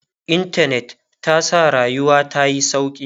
intanet ta sa rayuwa tayi sauƙi